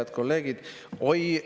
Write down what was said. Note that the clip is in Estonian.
Head kolleegid!